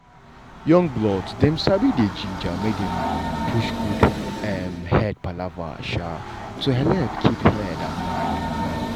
young blood dem um dey gingered make dem push good um head palava um to helep keep head and mind well.